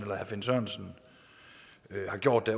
herre finn sørensen har gjort det